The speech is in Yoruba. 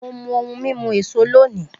Mo mu ohun mímu èso lónìí